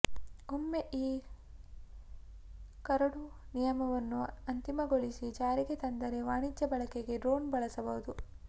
ಒಮ್ಮೆ ಈ ಕರಡು ನಿಯಮವನ್ನು ಅಂತಿಮಗೊಳಿಸಿ ಜಾರಿಗೆ ತಂದರೆ ವಾಣಿಜ್ಯ ಬಳಕೆಗೆ ಡ್ರೋಣ್ ಬಳಸಬಹುದು